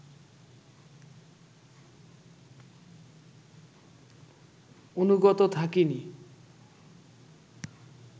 অনুগত থাকিনি